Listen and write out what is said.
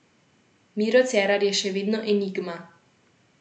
Miro Cerar je še vedno enigma.